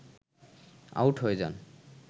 out হয়ে যান